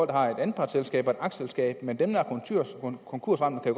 der har et anpartsselskab og et aktieselskab men dem der er konkursramte kan